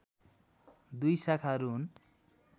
दुई शाखाहरू हुन्